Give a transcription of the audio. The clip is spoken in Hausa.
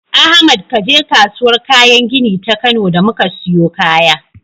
Ahmad kaje kasuwar kayan gini ta Kano da muka siyo kaya.